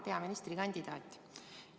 Hea peaministrikandidaat!